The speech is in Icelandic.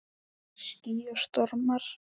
Ský og stormar